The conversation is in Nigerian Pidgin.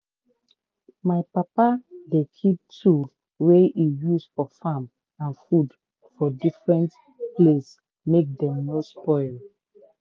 my papa dey keep tool wey he use for farm and food for different place make dem no spoil.